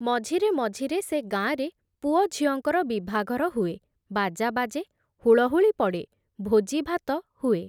ମଝିରେ ମଝିରେ ସେ ଗାଁରେ ପୁଅଝିଅଙ୍କର ବିଭାଘର ହୁଏ, ବାଜା ବାଜେ, ହୁଳୁହୁଳି ପଡ଼େ, ଭୋଜିଭାତ ହୁଏ ।